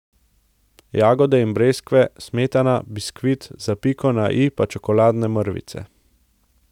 Jagode in breskve, smetana, biskvit, za piko na i pa čokoladne mrvice.